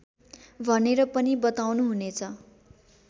भनेर पनि बताउनुहुनेछ